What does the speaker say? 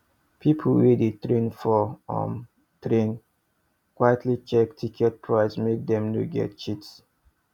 people wey dey train for um train quietly check ticket prices make dem no get cheat